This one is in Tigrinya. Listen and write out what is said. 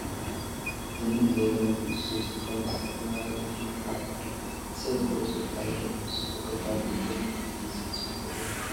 ዝንጥ ዝበለ ሙሉእ ሱፍ ዝተኸደነ ሰብ ሞባይል እንትድውል ይርአ ኣሎ፡፡ እዚ ሰብ ገፁ ኣይርአን፡፡ ሱፉ ከፋልጥ ዝደለ እዩ ዝመስል፡፡ ፅቡቕ እዩ፡፡